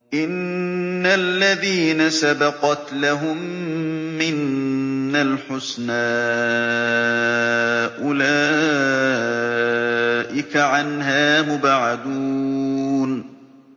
إِنَّ الَّذِينَ سَبَقَتْ لَهُم مِّنَّا الْحُسْنَىٰ أُولَٰئِكَ عَنْهَا مُبْعَدُونَ